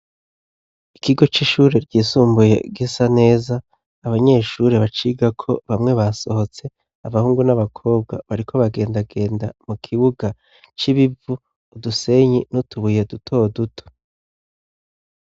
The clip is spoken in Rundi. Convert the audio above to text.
Ikigo c'ishuri ryisumbuye gisa neza abanyeshuri bacigako bamwe basohotse abahungu n'abakobwa bariko bagendagenda mu kibuga c'ibivu udusenyi n'utubuye duto duto.